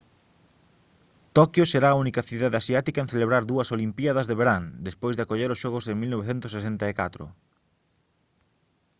toquio será a única cidade asiática en celebrar dúas olimpíadas de verán despois de acoller os xogos en 1964